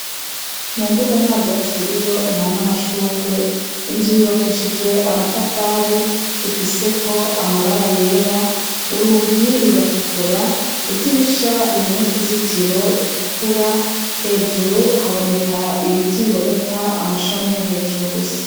Mu mbuga nta vyatsi biriyo, nta n'amashurwe. Inzu yubakishije amatafari. Ifiseko amabara yera. Urugi ruratukura. Idirisha ririmwo utuzitiro dutukura. Hejuru haboneka ibiti biboneka amashami yo hejuru gusa.